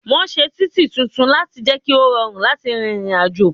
Wọn ṣe títì tuntun láti jẹ ki ó rọrùn láti rìnrìn àjò